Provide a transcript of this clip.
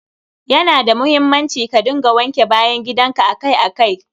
Ya na da muhimmanci ka dinga wanke bayan gidan ka akai akai.